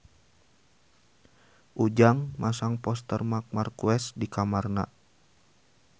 Ujang masang poster Marc Marquez di kamarna